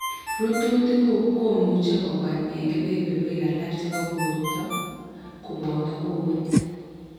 Rututik komuch kobwa en kebeberwek alak chebo borto koboto kowet